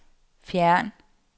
fjern